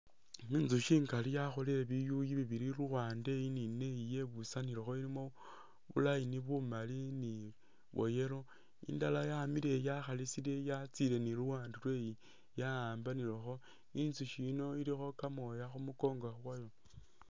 Inzushi ingali yakholele biyuyu bibili luwande iyi ni neyi nebusanilekho bu line bumali ni bwa yellow indala yamile iyi yakhalisile yatsile ni luwande lweyi ya'ambanilekho, inzushi yino ilikho kamooya khu mukongo kwayo.